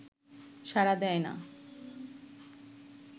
সাড়া দেয় না